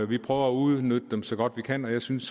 vi prøver at udnytte dem så godt vi kan og jeg synes